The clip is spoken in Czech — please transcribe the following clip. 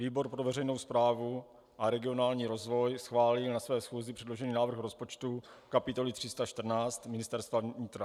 Výbor pro veřejnou správu a regionální rozvoj schválil na své schůzi předložený návrh rozpočtu kapitoly 314 - Ministerstvo vnitra.